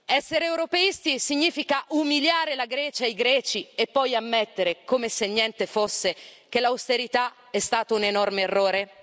Essere europeisti significa umiliare la Grecia e i greci, e poi ammettere come se niente fosse che l'austerità è stato un enorme errore?